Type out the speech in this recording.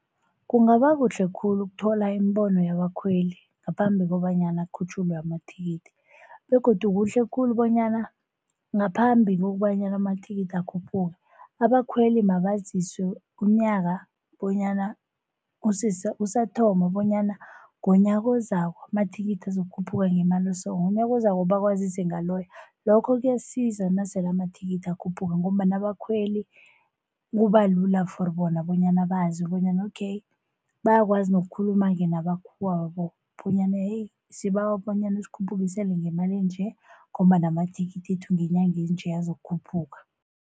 Kungaba kuhle khulu ukuthola imibono yabakhweli ngaphambi kobanyana kukhutjhulwe amathikithi. Begodu kuhle khulu bonyana ngaphambi kobanyana amathikithi akhuphuke abakhweli mabaziswe unyaka bonyana usathoma bonyana ngonyaka ozako amathikithi azokukhuphuka ngemali eso. Ngonyaka ozako bakwazise ngaloyo, lokho kuyasiza nasele amathikithi akhuphuka ngombana abakhweli kubalula for bona bonyana bazi bonyana okay, bayakwazi nokukhuluma-ke namakhuwabo bonyana sibawa bonyana ngemali enje ngombana amathikithethu ngenyanga enje azokukhuphuka.